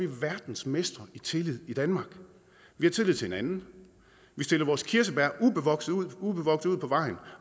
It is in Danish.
vi verdensmestre i tillid i danmark vi har tillid til hinanden vi stiller vores kirsebær ubevogtet ubevogtet ud på vejen